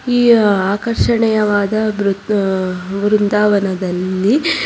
ಈ ಆಕರ್ಷಣೆಯವಾದ ಬ್ರು ಅ ಬೃಂದಾವನದಲ್ಲಿ--